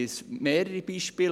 Ich kenne mehrere Beispiele.